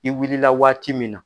I wilila la waati min na,